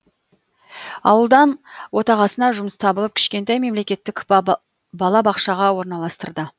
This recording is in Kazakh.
ауылдан отағасына жұмыс табылып кішкентай мемлекеттік балабақшаға орналастырды